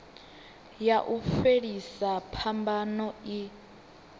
ya u fhelisa phambano i